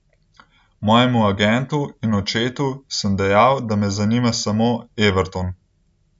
Mojemu agentu in očetu sem dejal, da me zanima samo Everton.